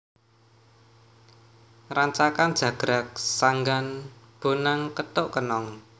Rancakan jagrag sanggan bonang kethuk kenong